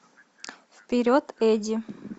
вперед эдди